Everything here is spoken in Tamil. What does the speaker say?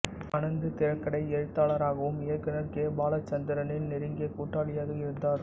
அனந்து திரைக்கதை எழுத்தாளராகவும் இயக்குனர் கே பாலசந்தரின் நெருங்கிய கூட்டாளியாக இருந்தார்